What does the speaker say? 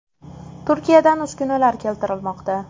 Turkiyadan uskunalar keltirilmoqda.